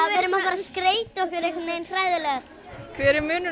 skreyta okkur hræðilega hver er munurinn á